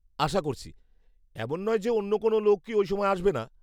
আশা করছি। এমন নয় যে অন্য কোনও লোকই ওই সময় আসবে না।